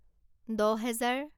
দহহেজাৰ